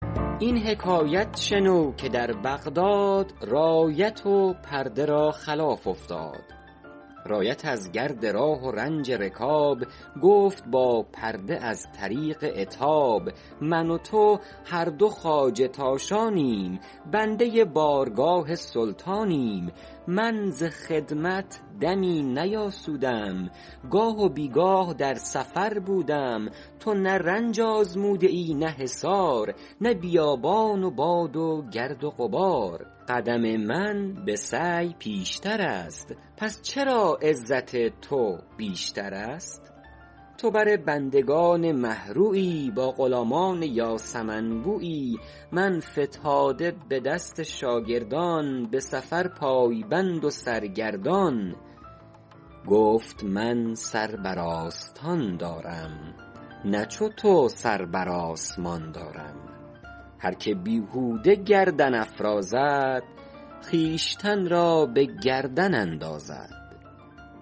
این حکایت شنو که در بغداد رایت و پرده را خلاف افتاد رایت از گرد راه و رنج رکاب گفت با پرده از طریق عتاب من و تو هر دو خواجه تاشانیم بنده بارگاه سلطانیم من ز خدمت دمی نیاسودم گاه و بیگاه در سفر بودم تو نه رنج آزموده ای نه حصار نه بیابان و باد و گرد و غبار قدم من به سعی پیشتر است پس چرا عزت تو بیشتر است تو بر بندگان مه رویی با غلامان یاسمن بویی من فتاده به دست شاگردان به سفر پای بند و سرگردان گفت من سر بر آستان دارم نه چو تو سر بر آسمان دارم هر که بیهوده گردن افرازد خویشتن را به گردن اندازد